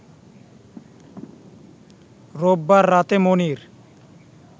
রোববার রাতে মনির